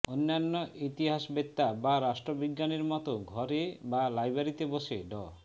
অন্যান্য ইতিহাসবেত্তা বা রাষ্ট্রবিজ্ঞানীর মতো ঘরে বা লাইব্রেরিতে বসে ড